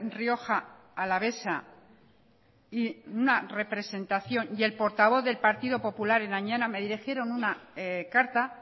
rioja alavesa y una representación y el portavoz del partido popular en añana me dirigieron una carta